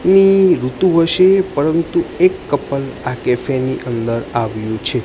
ની પરંતુ એક કપલ આ કેફે ની અંદર આવ્યુ છે.